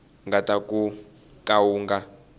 nga ta ka wu nga